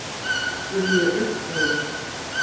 spurði ég uppveðruð.